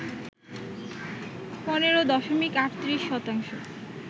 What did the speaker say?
১৫ দশমিক ৩৮ শতাংশ